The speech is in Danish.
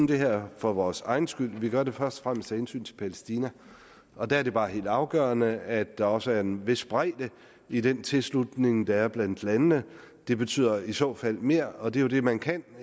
det her for vores egen skyld vi gør det først og fremmest af hensyn til palæstina og der er det bare helt afgørende at der også er en vis bredde i den tilslutning der er blandt landene det betyder i så fald mere og det er jo det man kan